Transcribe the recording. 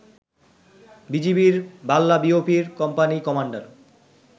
বিজিবির বাল্লা বিওপি'র company commander